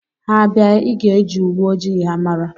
Ha bịa, ịga eji uwe ojii ha mara